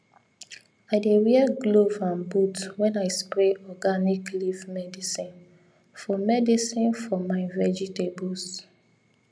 i dey wear glove and boot when i spray organic leaf medicine for medicine for my vegetables